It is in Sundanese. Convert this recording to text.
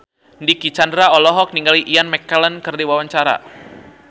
Dicky Chandra olohok ningali Ian McKellen keur diwawancara